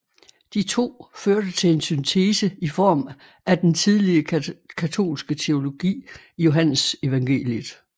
De to førte til en syntese i form af den tidlige katolske teologi i Johannesevangeliet